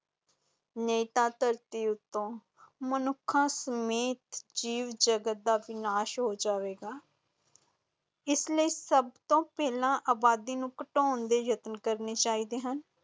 ਨਹੀਂ ਤਾਂ ਧਰਤੀ ਉੱਤੋਂ ਮਨੁੱਖਾਂ ਸਮੇਤ ਜੀਵ ਜਗਤ ਦਾ ਵਿਨਾਸ਼ ਹੋ ਜਾਵੇਗਾ ਇਸ ਲਈ ਸਭ ਤੋਂ ਪਹਿਲਾਂ ਆਬਾਦੀ ਨੂੰ ਘਟਾਉਣ ਦੇ ਯਤਨ ਕਰਨੇ ਚਾਹੀਦੇ ਹਨ।